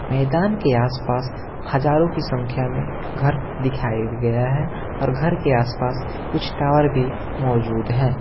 मैदान के आस-पास हजारों की संख्या में घर दिखाया गया है और घर के आस-पास कुछ टॉवर भी मौजूद है।